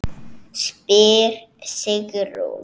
spyr Sigrún.